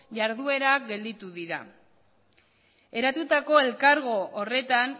iharduerak gelditu dira eratutako elkargo horretan